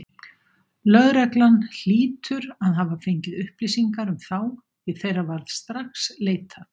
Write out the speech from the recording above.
Lögreglan hlýtur að hafa fengið upplýsingar um þá, því þeirra var strax leitað.